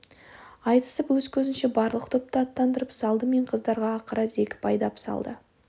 айтысып өз көзінше барлық топты аттандырып салды мен қыздарға ақыра зекіп айдап салды